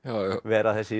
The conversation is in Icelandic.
vera þessi